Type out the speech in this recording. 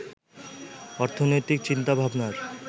অর্থনৈতিক চিন্তাভাবনার